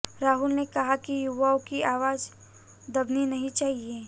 राहुल ने कहा कि युवाओं की आवाज दबनी नहीं चाहिए